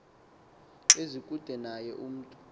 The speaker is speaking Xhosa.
ezikude naye umntu